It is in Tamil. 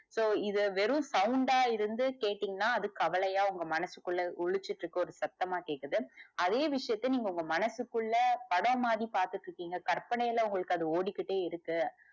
so இத வெறு sound டா இருந்து கேட்டிங்கனா அது கவலையா உங்க மனசுக்குள்ள ஒலிச்சிகிட்டு இருக்க சத்தமா கேக்குது அதே விஷயத்த உங்க மனசுகுள்ள படம் மாதிரி பாத்துகிட்டு இருக்கீங்க கற்பனைல அது உங்களுக்கு ஓடிட்டே இருக்கு.